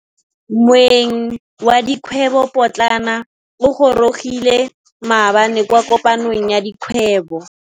Moêng wa dikgwêbô pôtlana o gorogile maabane kwa kopanong ya dikgwêbô.